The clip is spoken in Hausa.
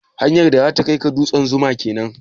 Hanyar da zata kai ka dutsen 'Zuma' kenan?